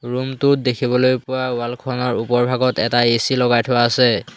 Room টোত দেখিবলৈ পোৱা ৱালখনৰ ওপৰভাগত এটা এ_চি লগাই থোৱা আছে।